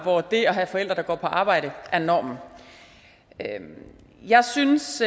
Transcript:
hvor det at have forældre der går på arbejde er normen jeg synes